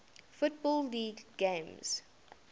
football league games